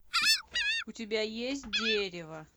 у тебя есть дерево